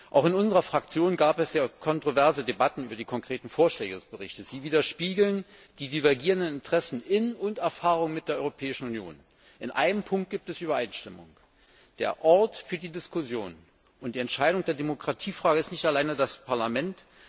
Auch in unserer Fraktion gab es kontroverse Debatten über die konkreten Vorschläge des Berichts. Sie spiegeln die divergierenden Interessen in und Erfahrungen mit der Europäischen Union wider. In einem Punkt gibt es Übereinstimmung Der Ort für die Diskussion und die Entscheidung der Demokratiefrage ist nicht allein das Parlament.